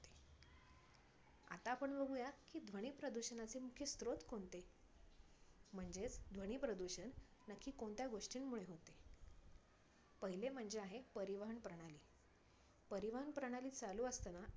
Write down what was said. आता आपण बघुया की ध्वनी प्रदूषणाचे मुख्य स्त्रोत कोणते? म्हणजेच ध्वनी प्रदूषण नक्की कोणत्या गोष्टींमुळे होते? पहिले म्हणजे आहे परिवहन प्रणाली. परिवहन प्रणाली चालू असताना